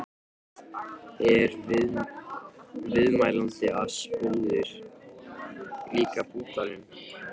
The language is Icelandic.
Er viðmælandinn þá spurður: Líka bútarnir?